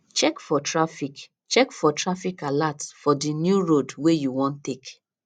check for traffic check for traffic alert for di new road wey you wan take